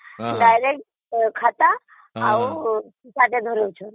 direct ଖାତା ଧରେଇ ଦଉଛନ୍ତି